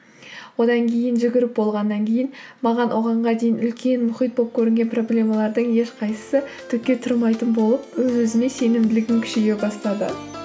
одан кейін жүгіріп болғаннан кейін маған оғанға дейін үлкен мұхит болып көрінген проблемалардың ешқайсысы түкке тұрмайтын болып өз өзіме сенімділігім күшейе бастады